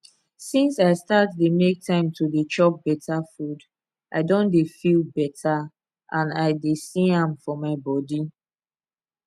since i start dey make time to dey chop better food i don dey feel better and i dey see am for my body